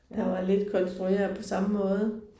Der var lidt konstrueret på samme måde